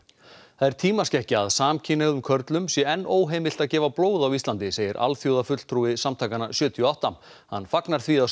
það er tímaskekkja að samkynhneigðum körlum sé enn óheimilt að gefa blóð á Íslandi segir alþjóðafulltrúi samtakanna sjötíu og átta hann fagnar því að